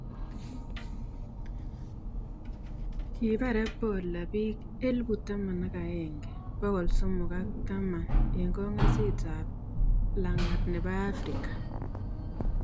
Kiipar ebola bik 11310 eng kongaasis ab langat nebo africa